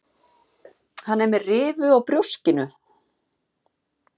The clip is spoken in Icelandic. Hann er með rifu á brjóskinu.